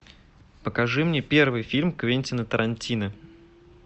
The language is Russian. покажи мне первый фильм квентина тарантино